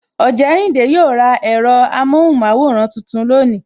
Ojerinde yo ra ẹ̀rọ amohunmaworan tuntun lónìí